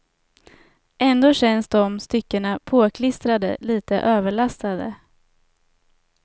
Ändå känns de styckena påklistrade, lite överlastade.